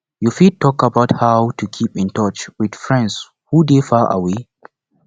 you fit talk about how to keep in touch with friends who dey far away